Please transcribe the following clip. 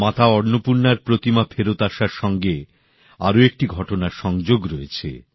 মাতা অন্নপূর্ণার প্রতিমা ফেরত আসার সঙ্গে আরও একটি ঘটনার সংযোগ রয়েছে